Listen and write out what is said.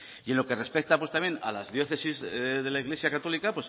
y en lo que respecta pues también a las diócesis de la iglesia católica